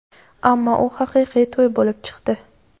Ammo u haqiqiy to‘y bo‘lib chiqdi.